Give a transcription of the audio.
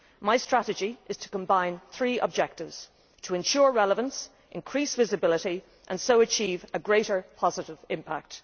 My strategy is to combine three objectives to ensure relevance, to increase visibility and so to achieve greater positive impact.